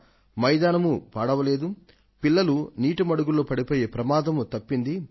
క్రీడా మైదానమూ పాడవదు పిల్లలు వీటిలో మునిగిపోయే అపాయమూ ఎదురవదు